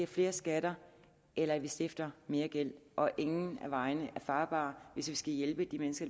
flere skatter eller at vi stifter mere gæld og ingen af vejene er farbare hvis vi skal hjælpe de mennesker